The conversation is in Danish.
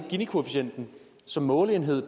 ginikoefficienten som måleenhed i